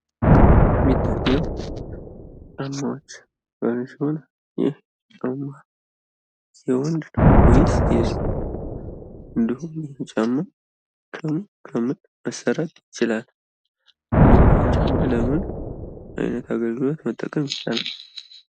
የሚታየው ጫማዎች ሲሆን ይህ ጫማዎች የወንድ ወይስ የሴት፤ እንዲሁም ይህ ጫማ ከምን ከምን መሰራት ይችላል? ይህን ጫማ ለምን አገልግሎት መጠቀም ይቻላል?